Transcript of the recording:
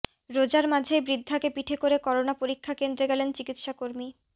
রোজার মাঝেই বৃদ্ধাকে পিঠে করে করোনা পরীক্ষা কেন্দ্রে গেলেন চিকিৎসা কর্মী